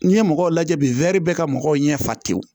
N'i ye mɔgɔw lajɛ bi bɛɛ ka mɔgɔw ɲɛ fa tew